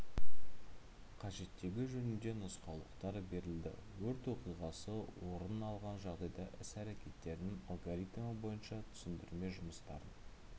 қажеттігі жөнінде нұсқаулықтар берілді өрт оқиғасы орын алған жағдайда іс әрекеттерінің алгоритімі бойынша түсіндірме жұмыстарын